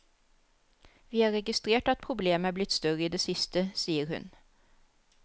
Vi har registrert at problemet er blitt større i det siste, sier hun.